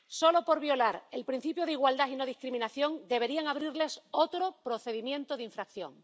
Solo por violar el principio de igualdad y no discriminación deberían abrirles otro procedimiento de infracción.